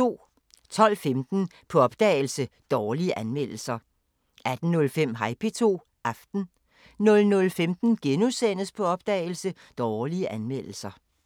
12:15: På opdagelse – Dårlige anmeldelser 18:05: Hej P2 – Aften 00:15: På opdagelse – Dårlige anmeldelser *